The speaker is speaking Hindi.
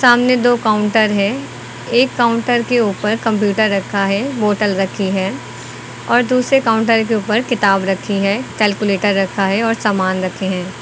सामने दो काउंटर है एक काउंटर के ऊपर कंप्यूटर रखा है बोतल रखी है और दूसरे काउंटर के ऊपर किताब रखी है कैलकुलेटर रखा है और सामान रखे हैं।